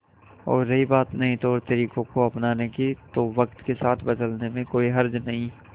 और रही बात नए तौरतरीकों को अपनाने की तो वक्त के साथ बदलने में कोई हर्ज नहीं